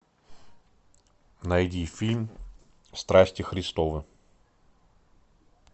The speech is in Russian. найди фильм страсти христовы